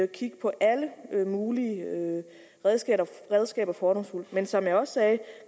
kigge på alle mulige redskaber men som jeg også sagde